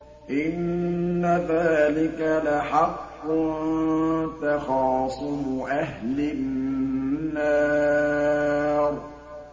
إِنَّ ذَٰلِكَ لَحَقٌّ تَخَاصُمُ أَهْلِ النَّارِ